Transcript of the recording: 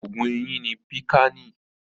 Oògun eyín ni Pìkáànì.